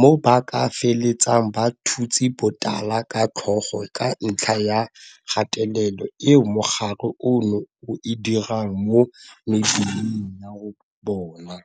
mo ba ka feletsang ba thutse botala ka tlhogo ka ntlha ya kgatelelo eo mogare ono o e dirang mo mebeleng ya bona.